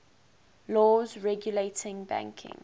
laws regulating banking